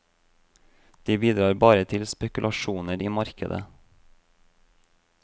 De bidrar bare til spekulasjoner i markedet.